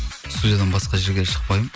студиядан басқа жерге шықпаймын